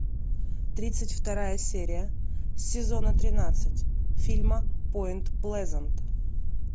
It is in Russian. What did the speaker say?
тридцать вторая серия сезона тринадцать фильма поинт плезант